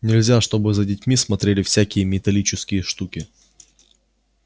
нельзя чтобы за детьми смотрели всякие металлические штуки